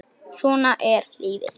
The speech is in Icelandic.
Svona er lífið.